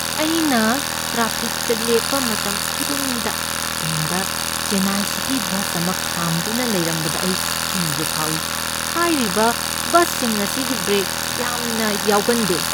ꯑꯩꯅ ꯇ꯭ꯔꯥꯐꯤꯛꯇ ꯂꯦꯞꯄ ꯃꯇꯝꯈꯨꯗꯤꯡꯗ ꯇꯨꯡꯗ ꯆꯦꯟꯅꯥꯏ ꯁꯤꯇꯤ ꯕꯁ ꯑꯃ ꯈꯥꯝꯗꯨꯅ ꯂꯩꯔꯝꯕꯗ ꯑꯩ ꯀꯤꯕ ꯐꯥꯎꯏ꯫ ꯍꯥꯏꯔꯤꯕ ꯕꯁꯁꯤꯡ ꯑꯁꯤꯒꯤ ꯕ꯭ꯔꯦꯛ ꯌꯥꯝꯅ ꯌꯥꯎꯒꯟꯗꯦ꯫